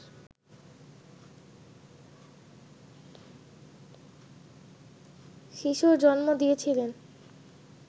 শিশুর জন্ম দিয়েছিলেন